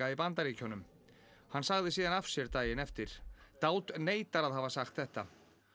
í Bandaríkjunum hann sagði síðan af sér daginn eftir neitar að hafa sagt þetta